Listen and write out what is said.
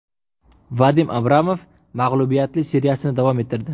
Vadim Abramov mag‘lubiyatli seriyasini davom ettirdi.